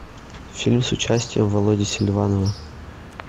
фильм с участием володи селиванова